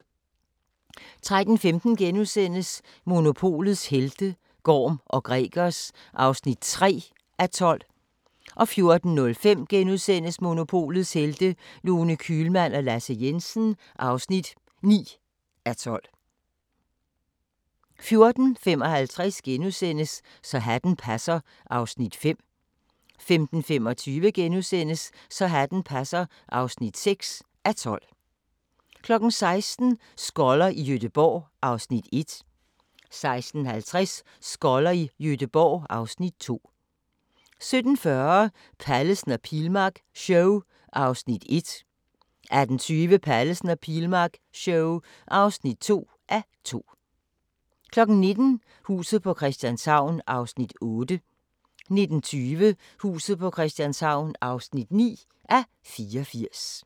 13:15: Monopolets helte - Gorm & Gregers (3:12)* 14:05: Monopolets Helte – Lone Kühlmann og Lasse Jensen (9:12)* 14:55: Så hatten passer (5:12)* 15:25: Så hatten passer (6:12)* 16:00: Skoller i Gøteborg (Afs. 1) 16:50: Skoller i Gøteborg (Afs. 2) 17:40: Pallesen og Pilmark show (1:2) 18:20: Pallesen og Pilmark show (2:2) 19:00: Huset på Christianshavn (8:84) 19:20: Huset på Christianshavn (9:84)